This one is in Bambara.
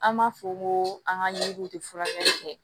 An b'a fɔ ko an ka ɲugu tɛ furakɛli kɛ